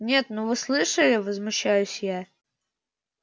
нет ну вы слышали возмущаюсь я